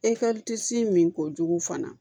min ko jugu fana